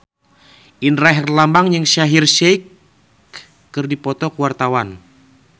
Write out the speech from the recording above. Indra Herlambang jeung Shaheer Sheikh keur dipoto ku wartawan